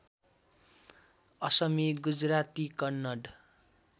Asami Gujarati Kannada